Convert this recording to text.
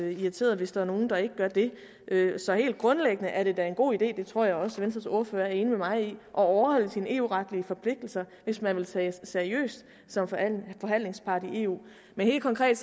irriteret hvis der er nogen der ikke gør det så helt grundlæggende er det da en god idé og det tror jeg også venstres ordfører er enig med mig i at overholde sine eu retlige forpligtelser hvis man vil tages seriøst som forhandlingspart i eu men helt konkret